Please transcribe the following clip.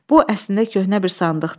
Bu əslində köhnə bir sandıqdır.